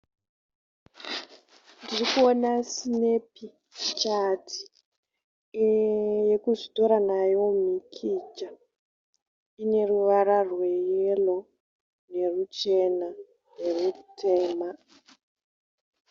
Ndirikuona sinepichati yekuzvitora nayo mhikicha. Ine ruvara rweyero nerwuchena nerwutema.